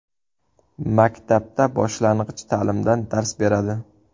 Maktabda boshlang‘ich ta’limdan dars beradi.